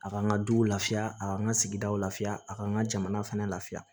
A k'an ka duw lafiya a ka n ka sigidaw la fiyan a k'an ka jamana fɛnɛ lafiya